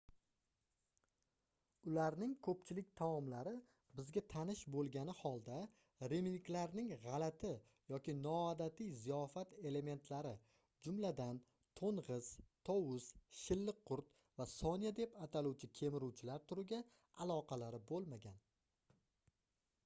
ularning koʻpchilik taomlari bizga tanish boʻlgani holda rimliklarning gʻalati yoki noodatiy ziyofat elementlari jumladan toʻngʻiz tovus shilliqqurt va sonya deb ataluvchi kemiruvchilar turiga aloqalari boʻlmagan